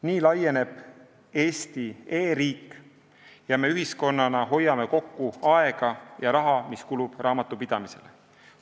Nii laieneb Eesti e-riik ja me ühiskonnana hoiame kokku aega ja raha, mis praegu kulub raamatupidamisele.